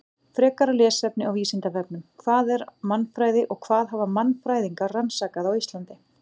Frekara lesefni á Vísindavefnum: Hvað er mannfræði og hvað hafa mannfræðingar rannsakað á Íslandi?